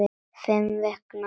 Fimm vikna.